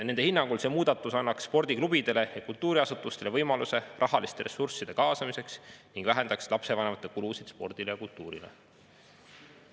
Nende hinnangul see muudatus annaks spordiklubidele ja kultuuriasutustele võimaluse rahaliste ressursside kaasamiseks ning vähendaks lapsevanemate kulusid spordile ja kultuurile.